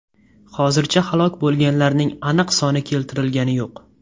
Hozircha halok bo‘lganlarning aniq soni keltirilgani yo‘q.